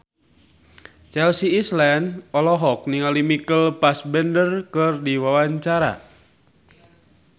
Chelsea Islan olohok ningali Michael Fassbender keur diwawancara